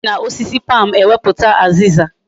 Esi na osisi palm emeputa aziza